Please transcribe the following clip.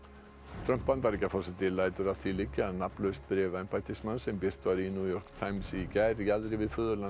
Trump Bandaríkjaforseti lætur að því liggja að nafnlaust bréf embættismanns sem birt var í New York Times í gær jaðri við